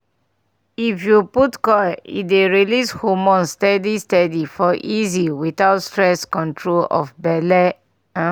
if u put coil e dey release hormones steady steady for easy without stress control of belle um